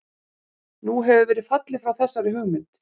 Nú hefur verið fallið frá þessari hugmynd.